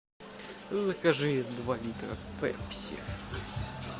закажи два литра пепси